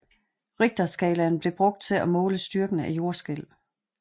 Richterskalaen bliver brugt til at måle styrken af jordskælv